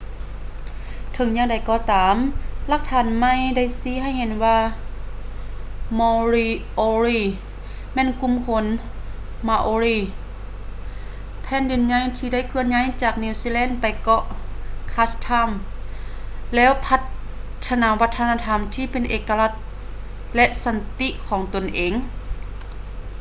ເຖິງຢ່າງໃດກໍຕາມ ຫຼັກຖານໃໝ່ໄດ້ຊີ້ໃຫ້ເຫັນວ່າ moriori ແມ່ນກຸ່ມຄົນ maori ແຜ່ນດິນໃຫຍ່ທີ່ໄດ້ເຄື່ອນຍ້າຍຈາກນິວຊີແລນໄປເກາະ chatham ແລ້ວພັດທະນາວັດທະນະທຳທີ່ເປັນເອກະລັກ ແລະ ສັນຕິຂອງຕົນເອງ